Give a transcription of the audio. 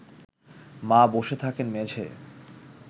মা বসে থাকেন মেঝেয়